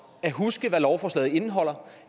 at huske på hvad lovforslaget indeholder